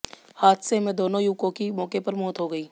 हादसे में दोनों युवकों की मौके पर मौत हो गई